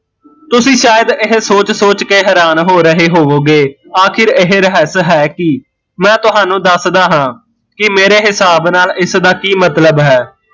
ਤੁਸੀਂ ਸ਼ਾਇਦ ਇਹ ਸੋਚ ਸੋਚ ਕੇ ਹੈਰਾਨ ਹੋ ਰਹੇ ਹੋਵੋਗੇ, ਆਖਿਰ ਇਹ ਰਹੱਸ ਹੈ ਕੀ? ਮੈਂ ਤਹਾਨੂੰ ਦੱਸਦਾ ਹਾਂ ਕਿ ਮੇਰੇ ਹਿਸਾਬ ਨਾਲ਼ ਇਸਦਾ ਕੀ ਮਤਲਬ ਹੈ